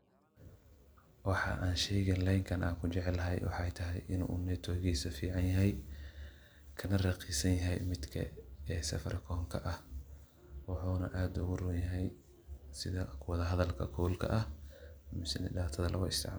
Waxa aan sheygan leenkan kujeclahay waxaay tahay in uu [network]giisa fican yahay kana raqiisan yahay[Safaricom]oo aad uu uroon yahay sidha wada hadalka ama daatada.